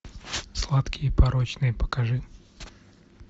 сладкие и порочные покажи